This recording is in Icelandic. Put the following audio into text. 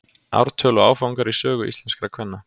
ártöl og áfangar í sögu íslenskra kvenna